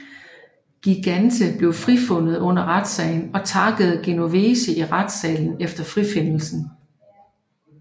Gigante blev frifudnet under retssagen og takkede Genovese i retssalen efter frifindelsen